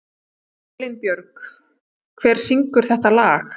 Elínbjörg, hver syngur þetta lag?